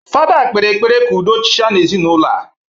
Fada kpere ekpere ka udo chia n'ezinaụlọ a